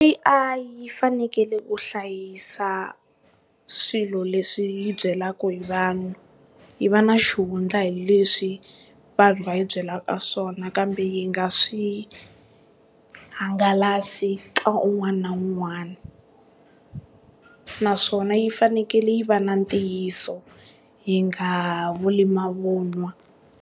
A_I yi fanekele ku hlayisa swilo leswi yi byelaka hi vanhu, yi va na xihundla hileswi vanhu va yi byelaka swona kambe yi nga swi hangalasi ka un'wana na un'wana, naswona yi fanekele yi va na ntiyiso yi nga vuli mavun'wa.